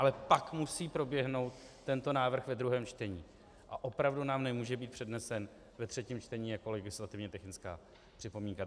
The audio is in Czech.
Ale pak musí proběhnout tento návrh ve druhém čtení a opravdu nám nemůže být přednesen ve třetím čtení jako legislativně technická připomínka.